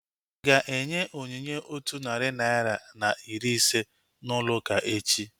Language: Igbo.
Ịga enye onyinye otu narị naira na iri ise n'ụlọ ụka echi?